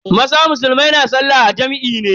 Maza musulmai na sallah a jam'i ne.